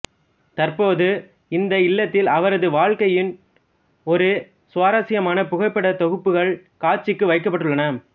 தற்போது இந்த இல்லத்தில் அவரது வாழ்க்கையின் ஒரு சுவாரஸ்யமான புகைப்படத் தொகுப்புகள் காட்சிக்கு வைக்கப்பட்டுள்ளன